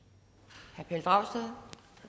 herre pelle dragsted